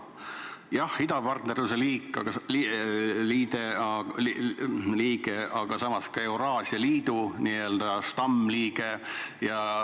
Jah, Valgevene on idapartnerluse riik, aga samas ka Euraasia Liidu n-ö stammliige.